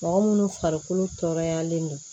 Mɔgɔ munnu farikolo tɔɔrɔyalen don